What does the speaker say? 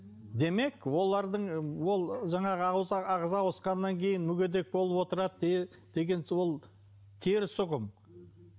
демек олардың ол жаңағы ағза ауысқаннан кейін мүгедек болып отырады деген ол теріс ұғым